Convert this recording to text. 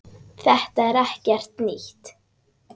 Þetta er ekkert nýtt.